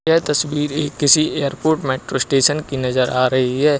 यह तस्वीर किसी एयरपोर्ट मेट्रो स्टेशन की नजर आ रही है।